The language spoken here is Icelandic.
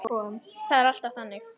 Það er alltaf þannig.